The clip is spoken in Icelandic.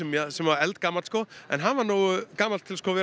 sem var eldgamall sko en hann var nógu gamall til að vera